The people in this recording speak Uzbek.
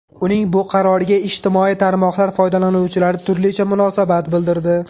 Uning bu qaroriga ijtimoiy tarmoqlar foydalanuvchilari turlicha munosabat bildirdi.